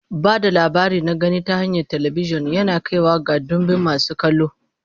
Ba da labari na gani ta hanyar talabijin yana kaiwa ga ɗimbin masu kallo.